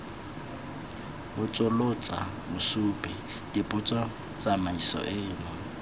botsolotsa mosupi dipotso tsamaiso eno